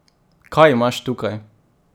Kaj imaš tukaj?